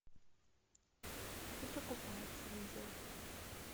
выдра купается видео